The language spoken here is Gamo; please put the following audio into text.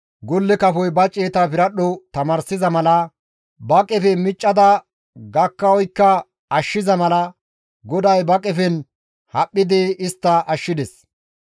Golle kafoy ba ciyeta piradho tamaarsiza mala, ba qefe miccada gakka oykka ashshiza mala, GODAY ba qefen haphphidi istta ashshides.